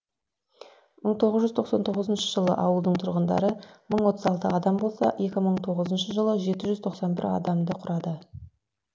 мың тоғыз жүз тоқсан тоғызыншы жылы ауылдың тұрғындары мың отыз алты адам болса екі мың тоғызыншы жылы жеті жүз тоқсан бір адамды құрады